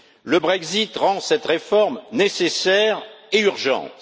Le Brexit rend cette réforme nécessaire et urgente.